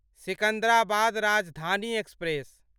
Secunderabad Rajdhani express